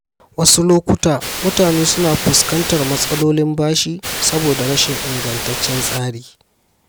Wasu lokuta, mutane suna fuskantar matsalolin bashi saboda rashin ingantaccen tsari.